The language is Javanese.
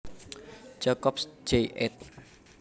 Jacobs Jay ed